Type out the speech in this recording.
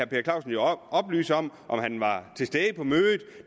per clausen jo oplyse om han var til stede på mødet